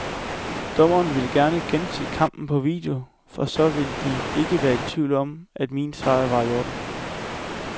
Dommerne vil gense kampen på video, for så vil de ikke være i tvivl om, at min sejr var i orden.